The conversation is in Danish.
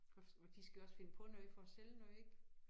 Og og de skal også finde på noget for at sælge noget ik